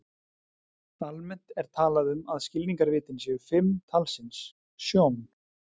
Almennt er talað um að skilningarvitin séu fimm talsins: Sjón.